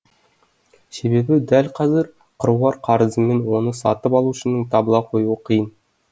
себебі дәл қазір қыруар қарызымен оны сатып алушының табыла қоюы қиын